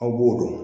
Aw b'o dɔn